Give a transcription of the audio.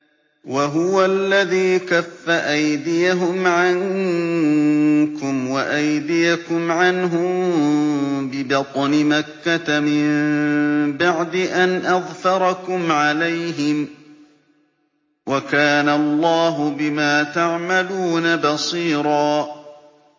وَهُوَ الَّذِي كَفَّ أَيْدِيَهُمْ عَنكُمْ وَأَيْدِيَكُمْ عَنْهُم بِبَطْنِ مَكَّةَ مِن بَعْدِ أَنْ أَظْفَرَكُمْ عَلَيْهِمْ ۚ وَكَانَ اللَّهُ بِمَا تَعْمَلُونَ بَصِيرًا